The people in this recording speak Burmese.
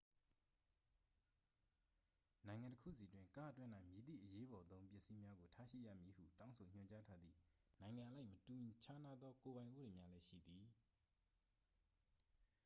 နိုင်ငံတစ်ခုစီတွင် ကားအတွင်း၌ မည်သည့်အရေးပေါ်သုံးပစ္စည်းများကို ထားရှိရမည်ဟု တောင်းဆိုညွှန်ကြားထားသည့် နိုင်ငံအလိုက် မတူခြားနားသော ကိုယ်ပိုင်ဥပဒေများလည်းရှိသည်